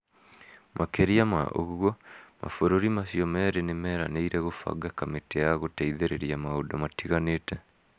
Makĩria ma ũguo, mabũrũri macio merĩ nĩ meranĩire kũbanga kamĩtĩ ya gũteithĩrĩria maũndũ matiganĩte.